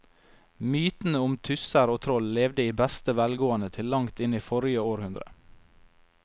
Mytene om tusser og troll levde i beste velgående til langt inn i forrige århundre.